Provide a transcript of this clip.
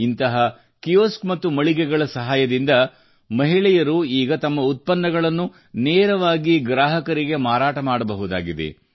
ಇಂತಹ ಕಿಯೋಸ್ಕ್ ಮತ್ತು ಮಳಿಗೆಗಳ ಸಹಾಯದಿಂದ ಮಹಿಳೆಯರು ಈಗ ತಮ್ಮ ಉತ್ಪನ್ನಗಳನ್ನು ನೇರವಾಗಿ ಗ್ರಾಹಕರಿಗೆ ಮಾರಾಟ ಮಾಡಬಹುದಾಗಿದೆ